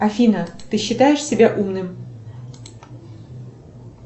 афина ты считаешь себя умным